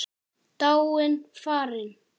Dáin, farin.